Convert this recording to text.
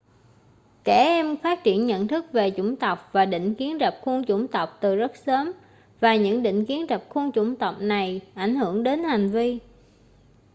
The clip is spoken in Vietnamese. trẻ em phát triển nhận thức về chủng tộc và định kiến rập khuôn chủng tộc từ rất sớm và những định kiến rập khuôn chủng tộc này ảnh hưởng đến hành vi